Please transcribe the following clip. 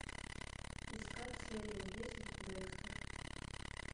искать серия десять декстер